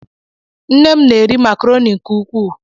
Nne mụ na -eri macroni nke ukwuu.